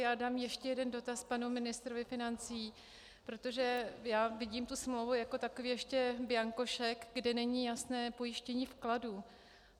Já dám ještě jeden dotaz panu ministrovi financí, protože já vidím smlouvu jako takový ještě bianko šek, kde není jasné pojištění vkladů.